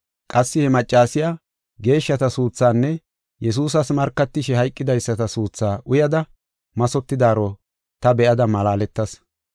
Qassi he maccasiya geeshshata suuthaanne Yesuusas markatishe hayqidaysata suuthaa uyada mathotidaaro ta be7ada malaaletas.